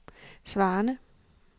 svarende